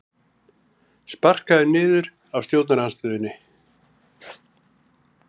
Sparkaður niður af stjórnarandstöðunni